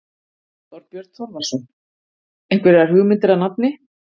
Þorbjörn Þórðarson: Einhverjar hugmyndir að nafni?